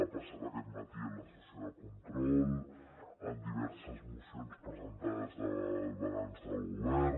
ha passat aquest matí en la sessió de control amb diverses mocions presentades al balanç del govern